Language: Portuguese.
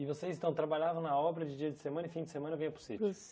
E vocês, então, trabalhavam na obra de dia de semana e fim de semana vinha para o sítio? Para o